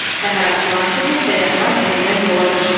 Səhər açılan kimi səyyahlar yenidən yola düşdülər.